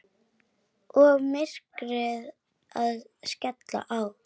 Og myrkrið að skella á.